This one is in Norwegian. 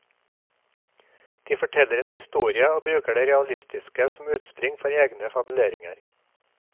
De forteller en historie og bruker det realistiske som utspring for egne fabuleringer.